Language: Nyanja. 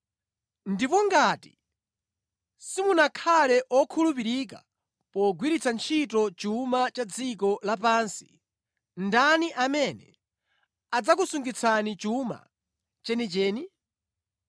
Ndipo ngati simunakhale okhulupirika pogwiritsa ntchito chuma cha dziko lapansi, ndani amene adzakusungitsani chuma chenicheni?